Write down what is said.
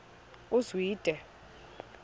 uzwide